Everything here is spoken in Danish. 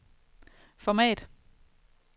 format